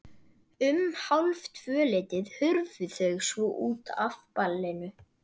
Um hálftvöleytið hurfu þau svo út af ballinu.